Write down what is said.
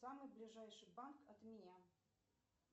самый ближайший банк от меня